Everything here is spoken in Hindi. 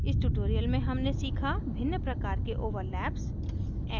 इस tutorial में हमने सीखा भिन्न प्रकार के ओवरलैप्स